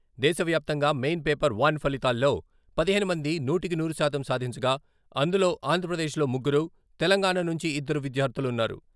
దేశవ్యాప్తంగా main paper one ఫలితాల్లో పదిహేను మంది నూటికి నూరు శాతం సాధించగా, అందులో ఆంధ్రప్రదేశ్లో ముగ్గురు, తెలంగాణ నుంచి ఇద్దరు విద్యార్థులున్నారు.